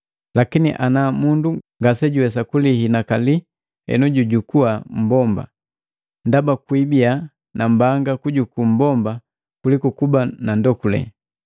Lakini ana mundu ngasejuwesa kulihibalaki henu jujukua mmbomba, ndaba kwiibiya nambanga kujuku mmbomba kuliku kuba nandokule.